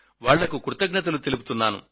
వాళ్లకు కృతజ్ఞతలు తెలుపుతున్నా